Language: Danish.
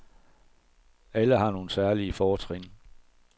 Alle har nogle særlige fortrin.